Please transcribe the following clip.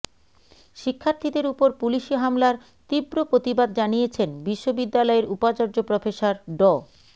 শিক্ষার্থীদের ওপর পুলিশি হামলার তীব্র প্রতিবাদ জানিয়েছেন বিশ্ববিদ্যালয়ের উপাচার্য প্রফেসর ড